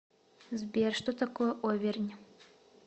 сбер что такое овернь